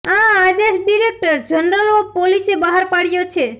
આ આદેશ director general of પોલીસે બહાર પાડયો છે